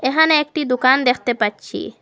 এখানে একটি দোকান দেখতে পাচ্ছি।